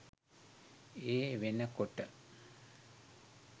ඒ වෙනකොට